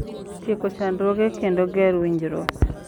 Tieko chandruoge, kendo ger winjruok,